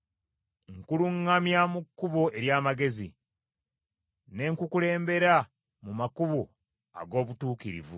Nkuluŋŋamya mu kkubo ery’amagezi, ne nkukulembera mu makubo ag’obutuukirivu.